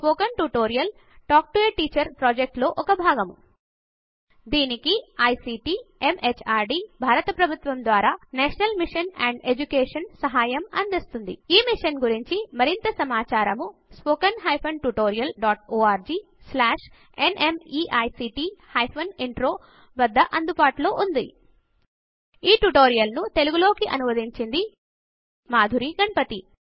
ఈ spoken tutorial talk to a teacher project లో భాగము దీనికి ఐసీటీ ఎంహార్డీ భారత ప్రభుత్వము ద్వారా నేషనల్ మిషన్ ఆన్ ఎడ్యుకేషన్ సహాయం అందిస్తోంది ఈ మిషన్ గురించి మరింత సమాచారము స్పోకెన్ హైఫెన్ tutorialorgన్మీక్ట్ Intro వద్ద అందుబాటులో ఉన్నది ఈ ట్యుటోరియల్ ను తెలుగు లోకి అనువదించింది మాధురి గణపతి